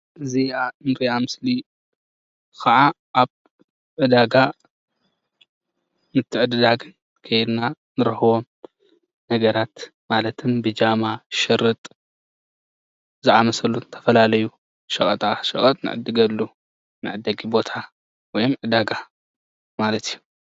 እዚኣ እንሪኣ ምስሊ ከ ዓ ኣብ ዕዳገ ምትዕድዳግ ኬድና እንረኽቦም ንኣብነት ውን ብጃማ። ሸርጥ፣ ዝኣመሰሉ ዝተፈላለዩ ሸቀጣሸቀጥ እንዕድገሉ መዐደጊ ቦታ እዩ።